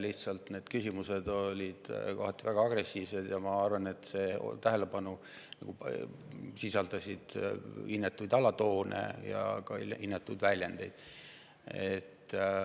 Lihtsalt need küsimused olid kohati väga agressiivsed ja sisaldasid minu arvates inetuid alatoone ja inetuid väljendeid.